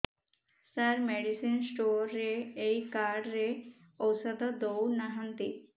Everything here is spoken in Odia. ସାର ମେଡିସିନ ସ୍ଟୋର ରେ ଏଇ କାର୍ଡ ରେ ଔଷଧ ଦଉନାହାନ୍ତି